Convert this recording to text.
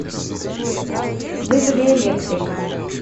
вызови электрика